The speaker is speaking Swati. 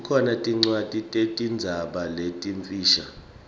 kukhona tincwadzi tetinzaba letimfisha